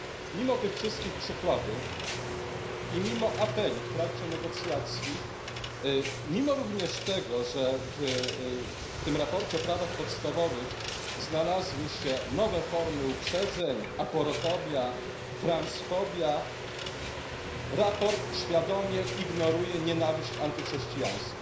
Mimo tych wszystkich przykładów i mimo apeli w trakcie negocjacji, jak również mimo tego, że w tym sprawozdaniu o prawach podstawowych znalazły się nowe formy uprzedzeń aporofobia, transfobia, sprawozdanie świadomie ignoruje nienawiść antychrześcijańską.